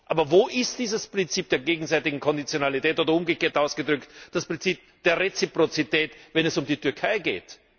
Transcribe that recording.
Aber wo ist dieses Prinzip der gegenseitigen Konditionalität, oder umgekehrt ausgedrückt das Prinzip der Reziprozität, wenn es um die Türkei geht?